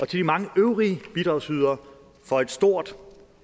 de mange øvrige bidragsyderne for et stort